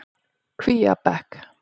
Kvíabekk